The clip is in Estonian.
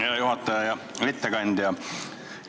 Hea juhataja ja ettekandja!